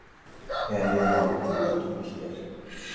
Er ég á villigötum hérna?